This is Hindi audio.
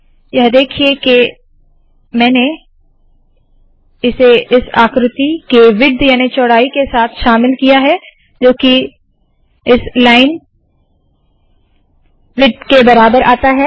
यह देखिए के मैंने इसे इस आकृति के विड्थ याने चौड़ाई के साथ शामिल किया है जो की इस लाइन विड्थ के बराबर आता है